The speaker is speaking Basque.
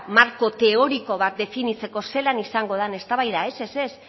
marko teoriko bat definitzeko zelan izango den eztabaida ez ez ez